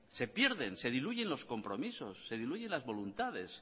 se pierden se diluyen los compromisos se diluyen las voluntades